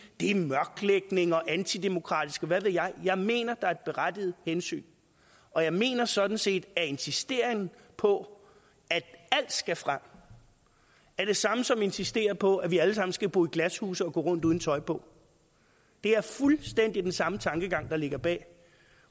det er mørklægning og antidemokratisk og hvad ved jeg jeg mener der er et berettiget hensyn og jeg mener sådan set at insistere på at alt skal frem er det samme som at insistere på at vi alle sammen skal bo i glashuse og gå rundt uden tøj på det er fuldstændig den samme tankegang der ligger bag